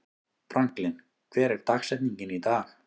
Franklin, hver er dagsetningin í dag?